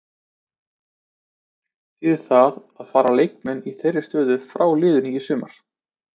Þýðir það að fara leikmenn í þeirri stöðu frá liðinu í sumar?